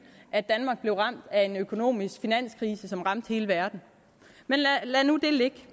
at danmark blev ramt af en økonomisk finanskrise som ramte hele verden men lad nu det ligge